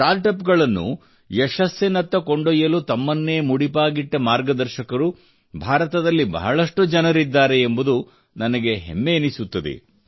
startup ಗಳನ್ನು ಯಶಸ್ಸಿನತ್ತ ಕೊಂಡೊಯ್ಯಲು ತಮ್ಮನ್ನೇ ಮುಡಿಪಾಗಿಟ್ಟ ಮಾರ್ಗದರ್ಶಕರು ಭಾರತದಲ್ಲಿ ಬಹಳಷ್ಟು ಜನರಿದ್ದಾರೆ ಎಂಬುದು ನನಗೆ ಹೆಮ್ಮೆ ಎನಿಸುತ್ತದೆ